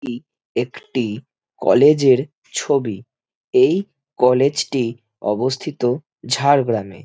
কি একটি কলেজ এর ছবি এই কলেজ টি অবস্থিত ঝাড়গ্রামে।